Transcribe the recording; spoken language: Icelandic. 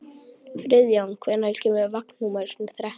Friðjón, hvenær kemur vagn númer þrettán?